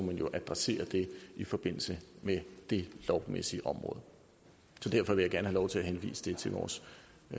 man jo adressere det i forbindelse med det lovmæssige område så derfor vil jeg gerne have lov til at henvise det til vores